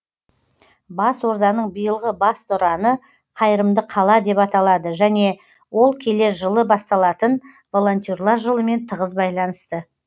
бас орданың биылғы басты ұраны қайырымды қала деп аталады және ол келер жылы басталатын волонтерлер жылымен тығыз байланысты